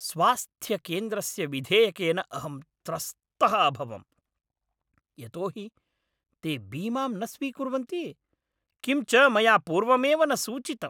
स्वास्थ्यकेन्द्रस्य विधेयकेन अहं त्रस्तः अभवम्। यतो हि ते बीमां न स्वीकुर्वन्ति । किं च मया पूर्वमेव न सूचितम्।